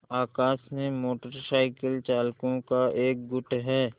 आकाश में motorcycle चालकों का एक गुट है